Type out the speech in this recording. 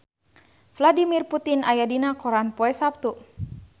Vladimir Putin aya dina koran poe Saptu